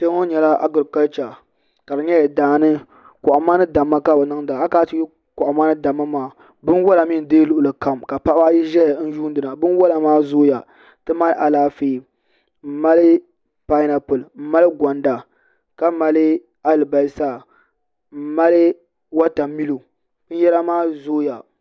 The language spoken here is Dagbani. Kpɛ ŋo nyɛla agirikalcha ka di nyɛla daani kohamma ni damma ka bi niŋda akana ti yuli kohamma ni damma maa binwola mii n deei luɣuli kam ka paɣaba ayi ʒɛya n yuundi na binwola maa zooya ti mali Alaafee n mali painapuli n mali gonda ka mali alibarisa n mali wotamilo binyɛra maa zooya